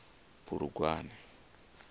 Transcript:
bulugwane